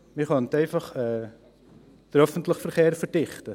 Man könnte einfach den öffentlichen Verkehr verdichten.